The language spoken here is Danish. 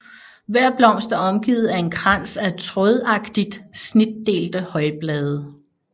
Hver blomst er omgivet af en krans af trådagtigt snitdelte højblade